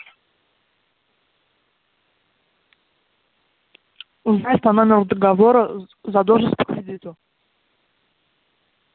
узнать по номеру договора задолженность по кредиту